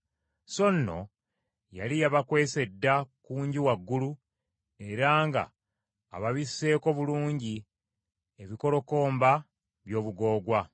So nno yali yabakwese dda ku nju waggulu era nga ababisseeko bulungi ebikolokomba by’obugoogwa.